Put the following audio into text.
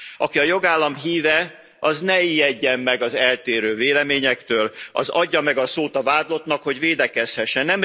Aki a jogállam híve, az ne ijedjen meg az eltérő véleményektől, az adja meg a szót a vádlottnak, hogy védekezhessen.